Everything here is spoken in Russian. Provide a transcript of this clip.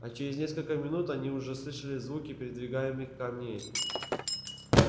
а через несколько минут они уже слышали звуки передвигаемых камней